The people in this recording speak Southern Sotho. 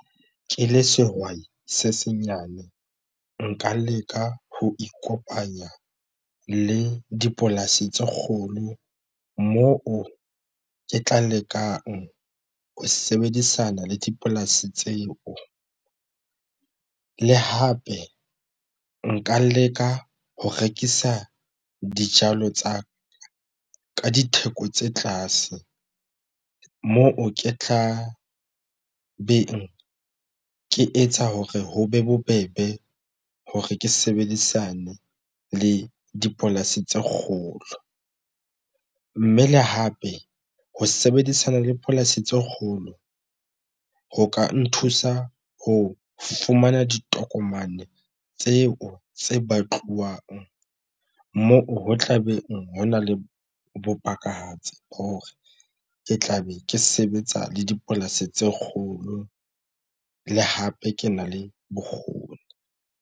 Ke le sehwai se senyane nka leka ho ikopanya le dipolasi tse kgolo moo ke tla lekang ho sebedisana le dipolasi tseo le hape nka leka ho rekisa dijalo tsa ka ditheko tse tlase moo ke tla beng ke etsa hore ho be bobebe hore ke sebedisane le dipolasi tse kgolo, mme le hape ho sebedisana le polasi tse kgolo ho ka nthusa ho fumana ditokomane tseo tse batluwang moo ho tlabe ho na le bopakahatsi hore ke tla be ke sebetsa le dipolasi tse kgolo le hape ke na le bokgoni.